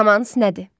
Romans nədir?